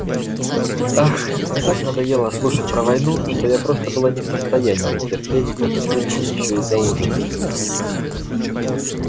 ах мне так надоело слушать про войну что я просто была не в состоянии терпеть эту пытку ещё и за ужином